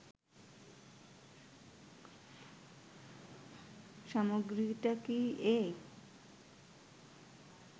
সামগ্রীটা কি এ